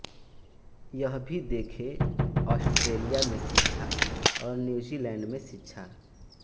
यह भी देखें ऑस्ट्रेलिया में शिक्षा और न्यूजीलैंड में शिक्षा